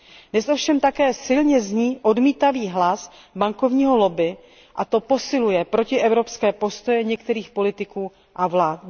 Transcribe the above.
Dnes ovšem také silně zní odmítavý hlas bankovního lobby a to posiluje protievropské postoje některých politiků a vlád.